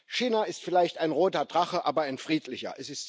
China ist vielleicht ein roter Drache, aber ein friedlicher.